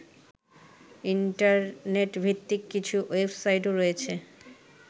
ইন্টারনেটভিত্তিক কিছু ওয়েবসাইটও রয়েছে